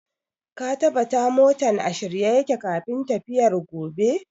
Ka tabata motan a shirye yake kafin tafiyar gobe!